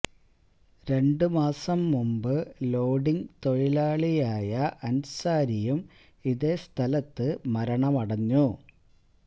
രണ്ട് മാസം മുമ്പ് ലോഡിങ് തൊഴിലാളിയായ അന്സാരിയും ഇതേ സ്ഥലത്ത് മരണമടഞ്ഞു